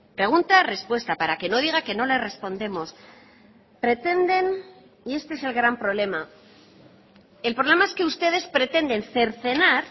pregunta respuesta para que no diga que no les respondemos pretenden y este es el gran problema el problema es que ustedes pretenden cercenar